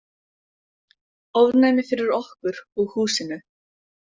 Ofnæmi fyrir okkur og húsinu!